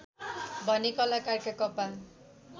भने कलाकारका कपाल